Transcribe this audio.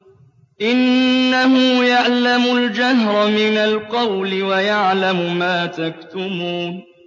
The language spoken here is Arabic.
إِنَّهُ يَعْلَمُ الْجَهْرَ مِنَ الْقَوْلِ وَيَعْلَمُ مَا تَكْتُمُونَ